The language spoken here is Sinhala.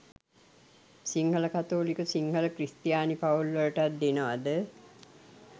සිංහල කතෝලික සිංහල ක්‍රිස්තියානි පවුල් වලටත් දෙනවද?